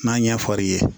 N'a ɲɛ fɔr'i ye